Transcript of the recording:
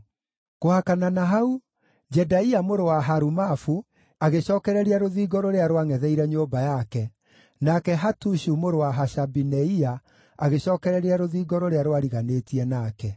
Kũhakana na hau, Jedaia mũrũ wa Harumafu agĩcookereria rũthingo rũrĩa rwangʼetheire nyũmba yake, nake Hatushu mũrũ wa Hashabineia agĩcookereria rũthingo rũrĩa rwariganĩtie nake.